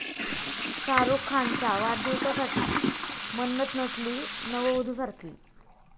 शाहरूख खानच्या वाढदिवसासाठी 'मन्नत' नटली नववधूसारखी!